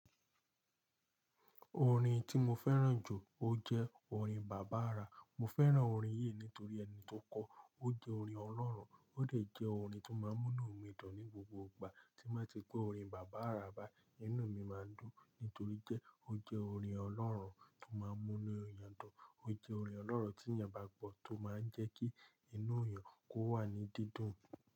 Orin tí mo fẹ́ràn jù, ó jẹ́ orin Bàbá Ara. Mo fẹ́ràn orin yìí nítorí ẹni tó kọ ó. Ó jẹ́ orin Ọlọ́run, ó dẹ jẹ́ orin to máa ń mú nu mi dun ní gbogbo ìgbà. Tí n bá ti gbọ́ orin Bàbá Ara bá, inú mi máa n dùn nítorí jẹ́ ó jẹ́ orin Ọlọ́run tí ó máa ń múnu èèyan dun. Ó jẹ́ orin Ọlọ́run tí èèyàn bá gbọ́ tó máa ń jẹ́ kí inú èèyàn kó wà ní dídùn.